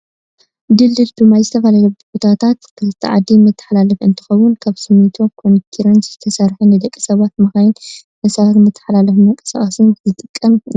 ድልድል ብማይ ዝተፈላለዩ ቦታታት ክልተ ዓዲ መተሓላለፊ እንትከውን ካብ ስሚንቶ ኮንኪሪት ዝተሰረሓ ንደቂ ሰባትን መካይንን እንስሳታትን መታሓላለፊን መንቀሳቀስን ዝጠቅም እዩ።